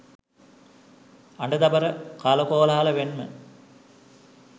අඩ දබර කලකෝලාහල මෙන්ම